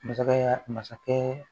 Masakɛ masakɛ